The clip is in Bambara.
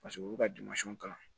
Paseke olu ka kalan